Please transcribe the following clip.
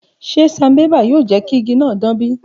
Ṣe sanbébà yoo jẹ ki igi naa dan bi?